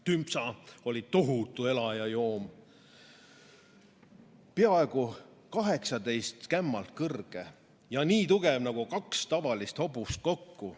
Tümpsa oli tohutu elajaloom, peaaegu kaheksateist kämmalt kõrge ja nii tugev nagu kaks tavalist hobust kokku."